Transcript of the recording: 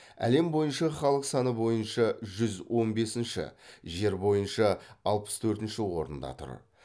әлем бойынша халық саны бойынша жүз он бесінші жер бойынша алпыс төртінші орында тұр